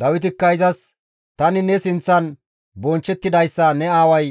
Dawitikka izas, «Tani ne sinththan bonchchettidayssa ne aaway